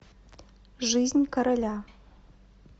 жизнь короля